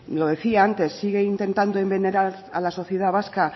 lo decía antes sigue intentando envenenar a la sociedad vasca